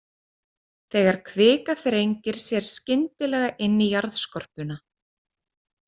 Þegar kvika þrengir sér skyndilega inn í jarðskorpuna.